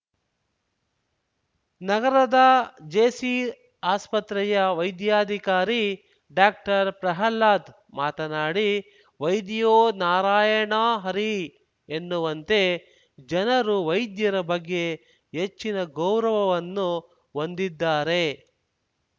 ನಗರದ ಜೆಸಿ ಆಸ್ಪತ್ರೆಯ ವೈದ್ಯಾಧಿಕಾರಿ ಡಾಕ್ಟರ್ ಪ್ರಹ್ಲಾದ್ ಮಾತನಾಡಿ ವೈದ್ಯೋ ನಾರಾಯಣ ಹರಿ ಎನ್ನುವಂತೆ ಜನರು ವೈದ್ಯರ ಬಗ್ಗೆ ಹೆಚ್ಚಿನ ಗೌರವವನ್ನು ಹೊಂದಿದ್ದಾರೆ